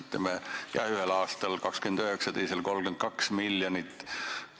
Ütleme, et ühel aastal oli see 29 ja teisel 32 miljonit.